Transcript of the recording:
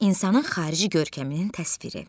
İnsanın xarici görkəminin təsviri.